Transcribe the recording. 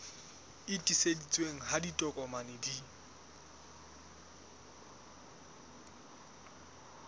e tiiseditsweng ha ditokomane di